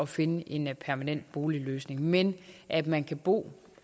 finde en permanent boligløsning men at man kan bo